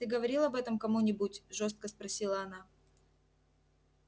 ты говорил об этом кому-нибудь жёстко спросила она